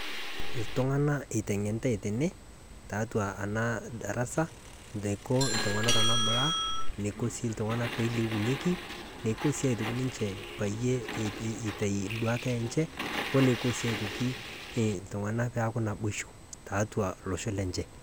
iltung'anak iteng'enitai teene tiatua ena darasa eniko iltung'anak peilepunyieki eniko sii ake ninje peitayu nduata enje woniko sii aitoki iltung'anak peeku naboisho tiatua olosho lenye